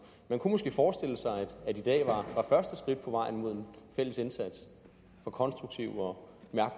man kunne måske forestille sig at i dag var første skridt på vejen mod en fælles indsats for konstruktive og